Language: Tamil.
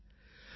டாக்டர்